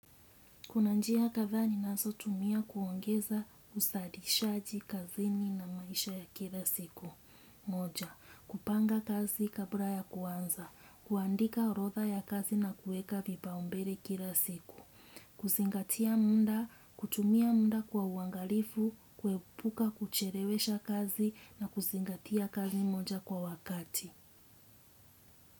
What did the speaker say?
Kuna njia kadhaa ninazotumia kuongeza uzalishaji kazini na maisha ya kila siku. Moja; kupanga kazi kabla ya kuanza, kuandika orodha ya kazi na kuweka vipaumbele kila siku. Kuzingatia muda, kutumia muda kwa uangalifu, kuepuka kuchelewesha kazi na kuzingatia kazi moja kwa wakati.